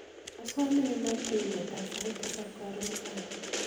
asome inan ing'eta sait tisap karon kaech